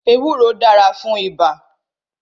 Ewúro dára fún ibà